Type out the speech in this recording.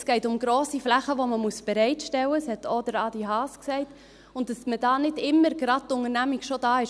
Es geht um grosse Flächen, die man bereitstellen muss – das hat auch Adrian Haas gesagt –, und dass dann nicht immer gerade ein Unternehmer da ist.